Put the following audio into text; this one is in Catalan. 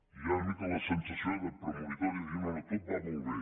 hi ha una mica la sensació premonitòria de dir no no tot va molt bé